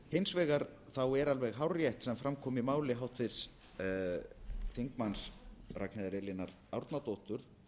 hins vegar er alveg hárrétt sem fram kom í máli háttvirts þingmanns ragnheiðar elínar árnadóttur